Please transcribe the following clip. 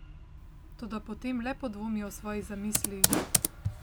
Toda potem le podvomi o svoji zamisli ...